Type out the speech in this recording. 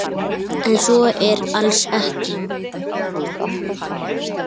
En svo er alls ekki.